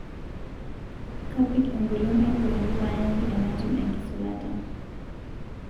'Kapik engolon ai poki payaki enatim enkisulata.